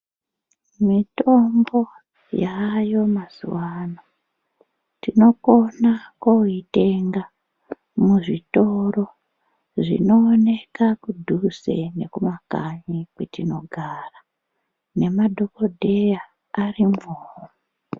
Mitombo yaayo mazuvaanano tinokona koitenga muzvitoro zvinooneka kudhuze nekumakanyi kwetinogara nemadhokodheya arimwowo.